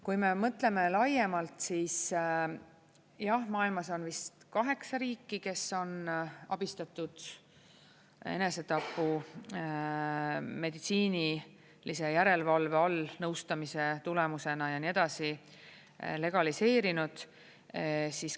Kui me mõtleme laiemalt, siis jah, maailmas on vist 8 riiki, kes on abistatud enesetapu meditsiinilise järelevalve all, nõustamise tulemusena ja nii edasi, legaliseerinud.